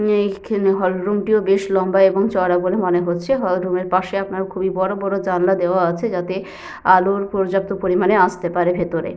এখানে hall room টিও বেশ লম্বা এবং চওড়া বলে মনে হচ্ছে। হল রুম -এর পাশে আপনার খুবই বড় বড় জানলা দেওয়া আছে যাতে আলো পর্যাপ্ত পরিমানে আসতে পারে ভেতরে।